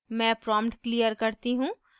मैं prompt clear करती हूँ